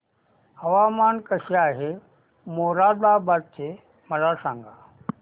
हवामान कसे आहे मोरादाबाद चे मला सांगा